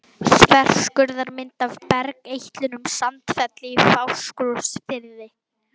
Þverskurðarmynd af bergeitlinum Sandfelli í Fáskrúðsfirði.